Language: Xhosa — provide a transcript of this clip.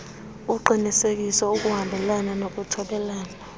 uqinisekisa ukuhambelana nokuthobela